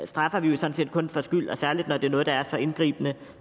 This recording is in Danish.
straffer vi sådan set kun for skyld særlig når det er noget der er så indgribende